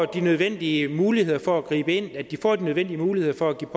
de nødvendige muligheder for at gribe ind og så de får de nødvendige muligheder for at kunne